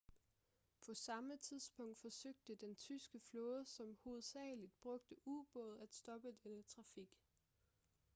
på samme tidspunkt forsøgte den tyske flåde som hovedsageligt brugte ubåde at stoppe denne trafik